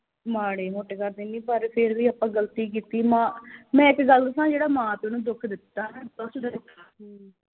ਮਾੜੇ ਮੋਟੇ ਘਰ ਦੀ ਨੀ ਪਰ ਫਿਰ ਵੀ ਆਪਾ ਗਲਤੀ ਕੀਤੀ ਮਾਂ ਮੈਂ ਇਕ ਗੱਲ ਦੱਸਾਂ ਜਿਹੜਾ ਮਾਂ ਪਿਉ ਨੂੰ ਦੁੱਖ ਦਿੱਤਾ